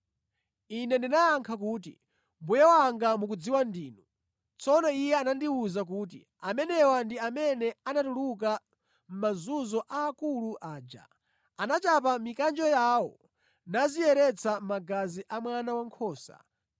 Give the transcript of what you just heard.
Ine ndinayankha kuti, “Mbuye wanga mukudziwa ndinu.” Tsono iye anandiwuza kuti, “Amenewa ndi amene anatuluka mʼmazunzo aakulu aja. Anachapa mikanjo yawo naziyeretsa mʼmagazi a Mwana Wankhosa.